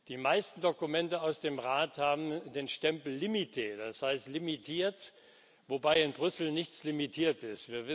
Die meisten Dokumente aus dem Rat haben den Stempel Limité, das heißt limitiert, wobei in Brüssel nichts limitiert ist.